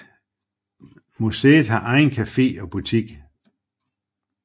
Museet har egen café og butik